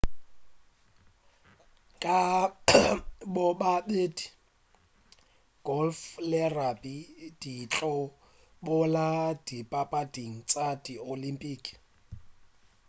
ka bobedi golf le rugby di tlo boela dipapading tša di olympic